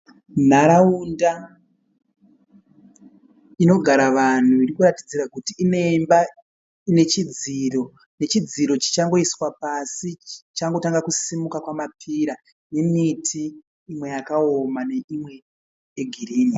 Nharaumda inogara vanhu irikuratidzira kuti ineimba inechidziro. Nechidziro chichangoiswa pasi chichangotanga kusimuka kwamapira nemiti imwe yakaoma neimwe yegirinhi.